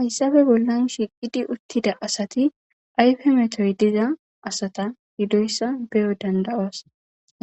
hayssafe bollan shiqidi uttida asati ayfe metoy diza asata hidoyssa beyo danda7os